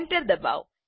enter ડબાઓ